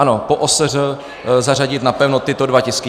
Ano, po OSŘ zařadit napevno tyto dva tisky.